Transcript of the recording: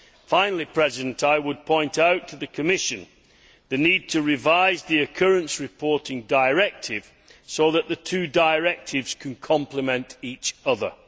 Finally, I would point out to the Commission the need to revise the occurrence reporting directive so that the two directives can complement each other.